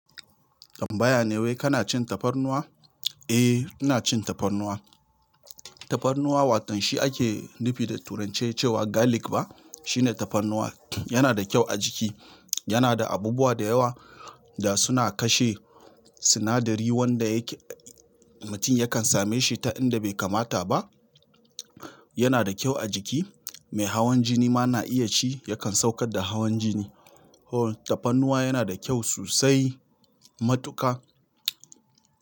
Tambaya ne wai kana cin tafarnuwa? Eh, ina cin tafarnuwa. Tafarnuwa, watan shi ake nufi da turanci cewa garlic ba? Shine tafarnuwa. Yana da kyau a jiki. Yana da abubuwa da yawa da suna kashe sinadari wanda yake mutun ya kan same shin ta inda bai kamata ba yana da kyau a jiki. Mai hawan jini ma na iya ci yakan saukar da hawan jini. Tafarnuwa yana da kyau sosai matuka.